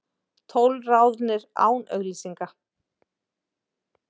Tólf ráðnir án auglýsingar